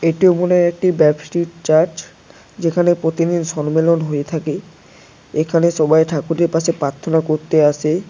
এটু মনে হয় একটি ব্যবস্টিট চার্চ যেখানে প্রতিদিন সম্মেলন হয়ে থাকে এখানে সবাই ঠাকুরের পাশে প্রার্থনা করতে আসে।